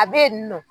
A bɛ yen nɔ